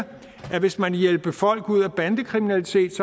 at hvis man vil hjælpe folk ud af bandekriminalitet